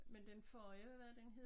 Men den forrige hvad var det den hed